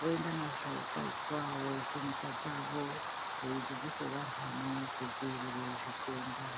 voenda nazvo Kai kwavo kunyika dzavo veidzidzise vandani kudzivirire zvitenda.